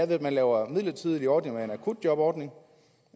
ved at lave midlertidige ordninger som akutjobordningen